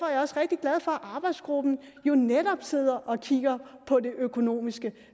jeg også rigtig glad for at arbejdsgruppen jo netop sidder og kigger på det økonomiske